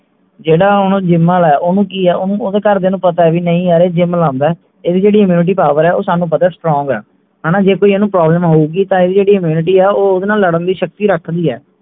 ਜਿਹੜਾ ਹੁਣ gym ਆਲੇ ਓਹਨੂੰ ਕਿ ਹੈ ਓਹਦੇ ਘਰ ਦੀਆਂ ਨੂੰ ਪਤੇ ਵੀ ਨਹੀਂ ਯਾਰ ਇਹ gym ਲਾਉਂਦੇ ਇਹਦੀ ਜਿਹੜੀ immunity power ਹੈ ਸਾਨੂੰ ਪਤੇ strong ਹੈ ਹਣਾ ਜੇ ਕੋਈ ਇਹਨੂੰ problem ਹੋਊਗੀ ਤਾਂ ਇਹਦੀ ਜਿਹੜੀ immunity ਹੈ ਉਹ ਓਹਦੇ ਨਾਲ ਲੜਨ ਦੀ ਸ਼ਕਤੀ ਰੱਖਦੀ ਹੈ